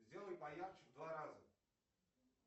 сделай поярче в два раза